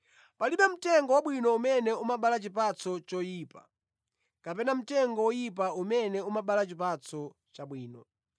Palibe mtengo wabwino umene umabala chipatso choyipa, kapena mtengo oyipa umene umabala chipatso chabwino.